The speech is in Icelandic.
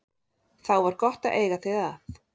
Þá var gott að eiga þig að.